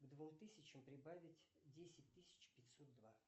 к двум тысячам прибавить десять тысяч пятьсот два